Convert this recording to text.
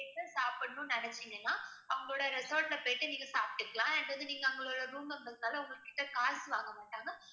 சாப்பிடணும்னு நினைச்சீங்கன்னா அவங்களுடைய resort ல போயிட்டு நீங்க சாப்பிட்டுக்கலாம் and நீங்க வந்து அவங்களுடைய room members னால உங்ககிட்ட காசு வாங்க மாட்டாங்க